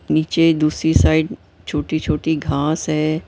नीचे दूसरी साइड छोटी-छोटी घास है।